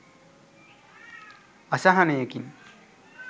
අසහනයකින්